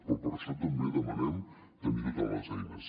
però per això també demanem tenir totes les eines